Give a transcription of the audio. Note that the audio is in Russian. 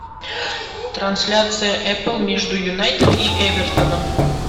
трансляция апл между юнайтед и эвертоном